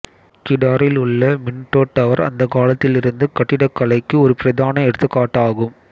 கிடாரில் உள்ள Minto Tower அந்தக் காலத்திலிருந்து கட்டிடக்கலைக்கு ஒரு பிரதான எடுத்துக்காட்டு ஆகும்